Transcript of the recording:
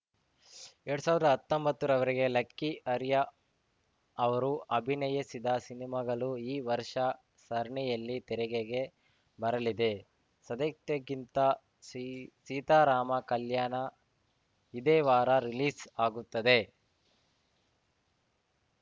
ಎರಡ್ ಸಾವಿರ್ದಾ ಹತ್ತೊಂಬತ್ತರ ವರಿಗೆ ಲಕ್ಕಿ ಅರಿಯಾ ಅವರು ಅಭಿನಯಿಸಿದ ಸಿನಿಮಾಗಳು ಈ ವರ್ಷ ಸರಣಿಯಲ್ಲಿ ತೆರೆಗೆಗೆ ಬರಲಿದೆ ಸದಾತ್ಯಕ್ಕಿಂತಾ ಸೀ ಸೀತಾರಾಮ ಕಲ್ಯಾಣ ಇದೇ ವಾರ ರಿಲೀಸ್‌ ಆಗುತ್ತದೆ